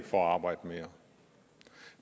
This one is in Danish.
for at arbejde mere